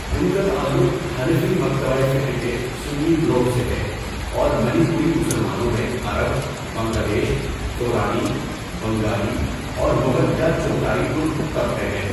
ان کا تعلق حنفی مکتبہ فکر کے سنی گروہ سے ہے اور منی پوری مسلمانوں میں عرب، بنگلہ دیش، تورانی، بنگالی اور مغل یا چغتائی ترک طبقے ہیں۔